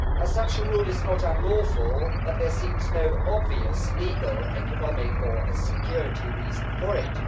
Such a rule is not unlawful, but there seems no obvious legal, economic or security reason for it.